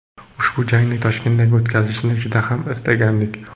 Ushbu jangning Toshkentda o‘tkazilishini juda ham istagandik.